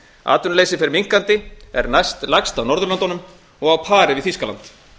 atvinnuleysi fer minnkandi er næstlægst á norðurlöndunum og á pari við þýskaland